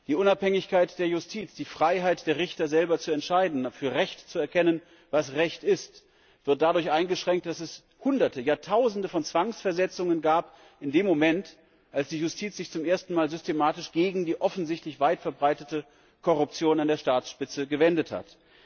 Die Unabhängigkeit der Justiz, die Freiheit der Richter, selber zu entscheiden, für Recht zu erkennen, was Recht ist, wird dadurch eingeschränkt, dass es Hunderte, ja, Tausende Zwangsversetzungen gab in dem Moment, als die Justiz sich zum ersten Mal systematisch gegen die offensichtlich weit verbreitete Korruption an der Staatsspitze gewendet hat.